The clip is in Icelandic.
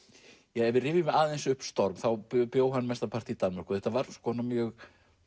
ef við rifjum aðeins upp storm þá bjó hann mestanpart í Danmörku þetta var mjög